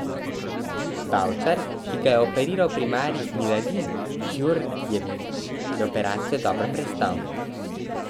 Bavčar, ki ga je operiral primarij Miladin Djordjević, je operacijo dobro prestal.